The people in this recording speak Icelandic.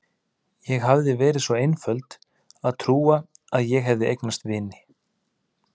Ég hafði verið svo einföld að trúa að ég hefði eignast vini.